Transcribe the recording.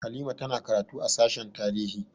Halima ta na karatu a sashen tarihi